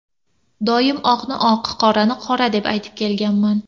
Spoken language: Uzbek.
Doim oqni oq, qorani qora deb aytib kelganman.